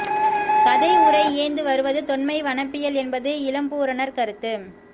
கதை உரை இயைந்து வருவது தொன்மை வனப்பியல் என்பது இளம்பூரணர் கருத்து